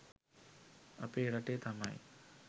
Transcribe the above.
අපේ රටේ තමයි